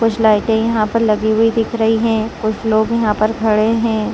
कुछ लाइटें यहां पर लगी हुई दिख रही हैं कुछ लोग यहां पर खड़े हैं।